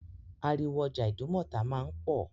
Ariwo ọjà Ìdúmọ̀tà máa ń pò.